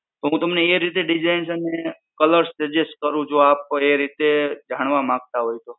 તો હું તમને એ રીતે Designs અને colours suggest કરું જે આપ એ રીતે જાણવા માંગતા હોય તો?